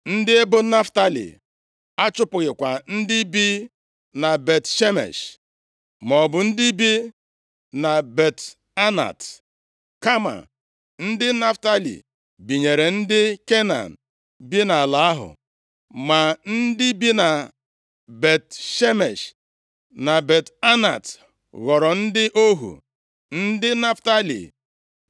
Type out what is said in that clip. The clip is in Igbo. Ndị ebo Naftalị achụpụghịkwa ndị bi na Bet-Shemesh, maọbụ ndị bi na Bet-Anat. Kama ndị Naftalị binyere ndị Kenan bi nʼala ahụ. Ma ndị bi na Bet-Shemesh, na Bet-Anat ghọrọ ndị ohu ndị Naftalị.